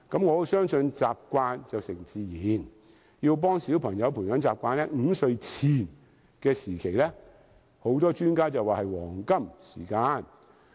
我相信習慣成自然，很多專家表示，要幫助小朋友培養習慣 ，5 歲前是黃金時間。